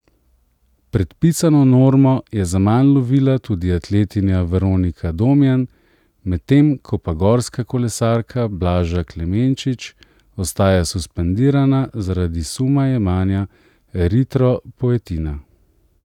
Predpisano normo je zaman lovila tudi atletinja Veronika Domjan, medtem ko pa gorska kolesarka Blaža Klemenčič ostaja suspendirana zaradi suma jemanja eritropoetina.